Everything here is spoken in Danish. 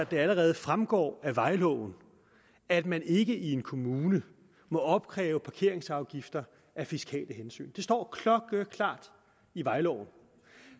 det allerede fremgår af vejloven at man ikke i en kommune må opkræve parkeringsafgifter af fiskale hensyn det står klokkeklart i vejloven